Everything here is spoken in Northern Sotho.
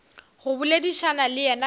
go boledišana le yena ka